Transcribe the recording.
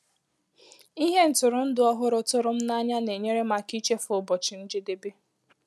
Ìhè ntụrụndụ ọhụrụ tụrụ m ànyà na-enyèrè m aka ichefu ụbọchị njedebe.